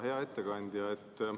Hea ettekandja!